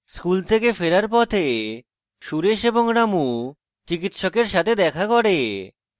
school থেকে ফেরার পথে সুরেশ এবং রামু চিকিৎসকের সাথে দেখা করে